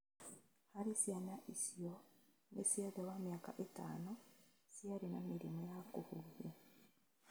Harĩ ciana icio nĩ cia thĩ wa mĩaka ĩtano ciarĩ na mĩrimũ ya kùhuhia